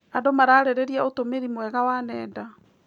Andũ mararĩrĩria ũtũmĩri mwega wa nenda.